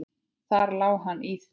Þar lá hann í því!